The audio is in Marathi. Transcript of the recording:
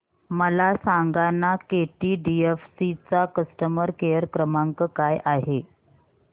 मला सांगाना केटीडीएफसी चा कस्टमर केअर क्रमांक काय आहे